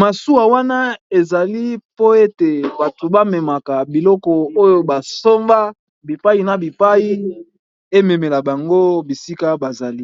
masuwa wana ezali po ete bato bamemaka biloko oyo basomba bipai na bipai ememela bango bisika bazali.